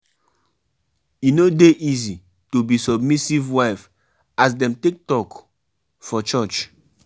Wetin make husband and wife go dey hide di moni wey dem get?